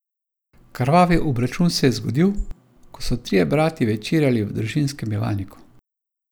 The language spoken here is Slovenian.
Krvavi obračun se je zgodil, ko so trije bratje večerjali v družinskem bivalniku.